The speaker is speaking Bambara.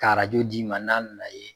Ka d'i ma n'a nana ye